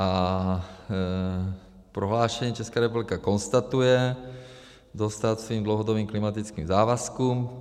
V prohlášení Česká republika konstatuje dostát svým dlouhodobým klimatickým závazkům.